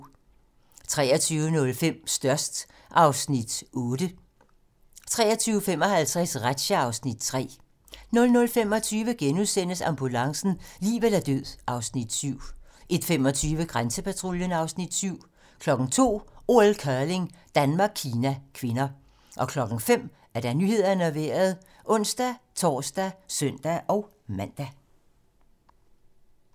23:05: Størst (Afs. 8) 23:55: Razzia (Afs. 3) 00:25: Ambulancen - liv eller død (Afs. 7)* 01:25: Grænsepatruljen (Afs. 7) 02:00: OL: Curling - Danmark-Kina (k) 05:00: Nyhederne og Vejret (ons-tor og søn-man)